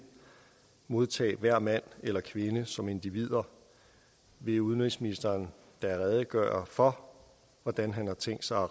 modtag hver mand eller kvinde som individer vil udenrigsministeren da redegøre for hvordan han har tænkt sig at